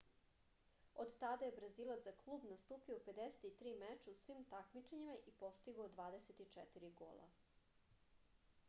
od tada je brazilac za klub nastupio u 53 meča u svim takmičenja i postigao 24 gola